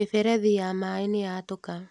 Mĩberethi ya maĩ nĩ yatũka.